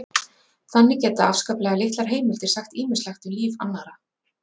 Þannig geta afskaplega litlar heimildir sagt ýmislegt um líf annarra.